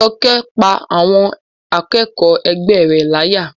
Jọkẹ́ pá àwọn akẹ́kọ̀ọ́ ẹgbẹ́ rẹ̀ láyà